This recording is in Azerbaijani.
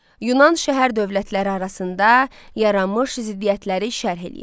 Yunan şəhər dövlətləri arasında yaranmış ziddiyyətləri şərh eləyin.